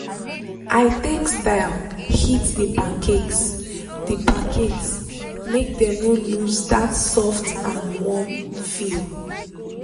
i take style heat the pancakes the pancakes make dem no lose that soft and warm feel.